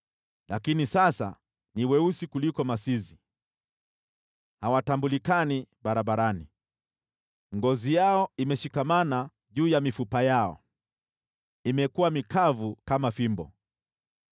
Lakini sasa ni weusi kuliko masizi; hawatambulikani barabarani. Ngozi yao imeshikamana juu ya mifupa yao, imekuwa mikavu kama fimbo.